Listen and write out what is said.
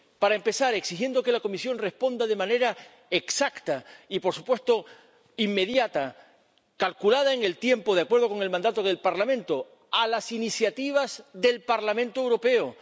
Para empezar, exigiendo que la Comisión responda de manera exacta y, por supuesto, inmediata, calculada en el tiempo, de acuerdo con el mandato del Parlamento a las iniciativas del Parlamento Europeo.